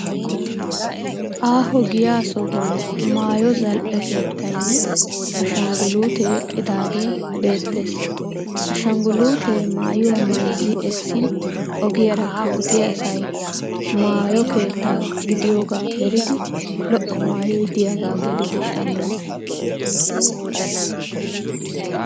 Aaho giyaa sohuwan maayo zal'e keettayinne ashangguluutee eqqidaagee beettes. Ashangguluutee maayuwaa mayizzi essin ogiyaara kanttiya asay maayo keetta gidiyoogaa eridi lo'o maayoy diyagaa gelidi shammes.